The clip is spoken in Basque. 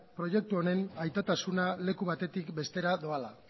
proiektu honen aitatasuna leku batetik bestera doala